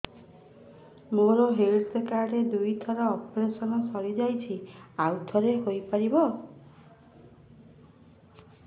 ମୋର health card ରେ ଦୁଇ ଥର ଅପେରସନ ସାରି ଯାଇଛି ଆଉ ଥର ହେଇପାରିବ